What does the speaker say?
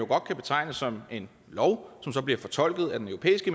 kan betegnes som en lov som så bliver fortolket af den europæiske